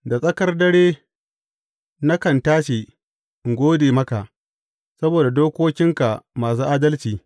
Da tsakar dare nakan tashi in gode maka saboda dokokinka masu adalci.